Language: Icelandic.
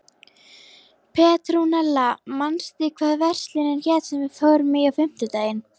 Petrúnella, manstu hvað verslunin hét sem við fórum í á fimmtudaginn?